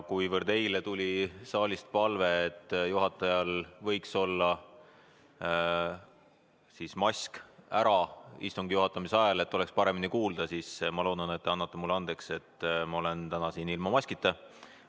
Kuna eile tuli saalist palve, et juhatajal võiks mask istungi juhatamise ajal ära olla, et oleks paremini kuulda, siis ma loodan, et te annate mulle andeks, et ma olen täna siin ilma maskita.